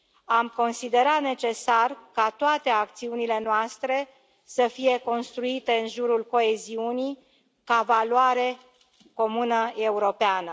Am considerat necesar ca toate acțiunile noastre să fie construite în jurul coeziunii, ca valoare comună europeană.